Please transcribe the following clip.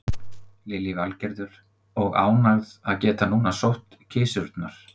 Lillý Valgerður: Og ánægð að geta núna sótt kisurnar?